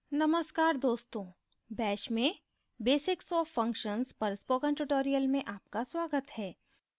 नमस्कार दोस्तों bash में basics of functions पर spoken tutorial में आपका स्वागत है